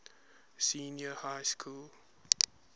senior high school